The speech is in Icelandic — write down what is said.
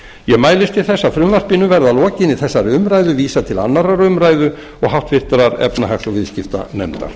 ég mælist til þess að frumvarpinu verði að lokinni þessari umræðu vísað til annarrar umræðu og háttvirtrar efnahags og viðskiptanefndar